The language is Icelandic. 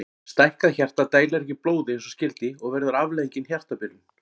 Stækkað hjarta dælir ekki blóði eins og skyldi og verður afleiðingin hjartabilun.